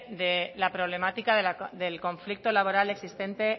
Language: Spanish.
de la problemática del conflicto laboral existente